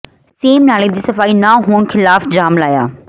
same ਨਾਲੇ ਦੀ ਸਫਾਈ ਨਾ ਹੋਣ ਖਿਲਾਫ਼ ਜਾਮ ਲਾਇਆ